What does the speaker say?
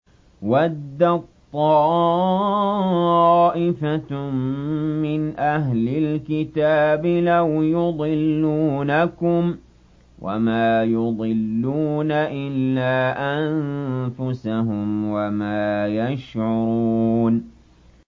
وَدَّت طَّائِفَةٌ مِّنْ أَهْلِ الْكِتَابِ لَوْ يُضِلُّونَكُمْ وَمَا يُضِلُّونَ إِلَّا أَنفُسَهُمْ وَمَا يَشْعُرُونَ